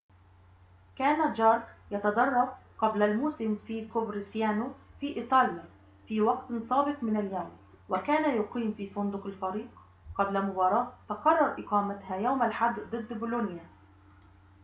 كان جارك يتدرب قبل الموسم في كوفرسيانو في إيطاليا في وقت سابق من اليوم وكان يقيم في فندق الفريق قبل مباراة تقرر إقامتها يوم الأحد ضد بولونيا